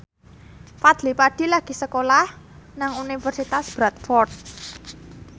Fadly Padi lagi sekolah nang Universitas Bradford